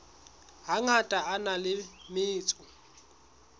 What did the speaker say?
hangata a na le metso